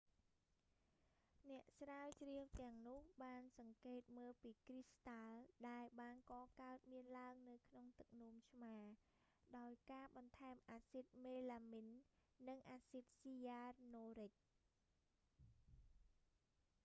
អ្នកស្រាវជ្រាវទាំងនោះបានសង្កេតមើលពីគ្រីស្តាល់ដែលបានកកើតមានឡើងនៅក្នុងទឹកនោមឆ្មា ដោយការបន្ថែមអាស៊ីតមេឡាមីន និងអាស៊ីតស៊ីយ៉ានូរិច